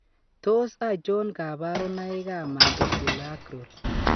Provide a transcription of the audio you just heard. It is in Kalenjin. Tos achon kabarunaik ab Mandibuloacral ?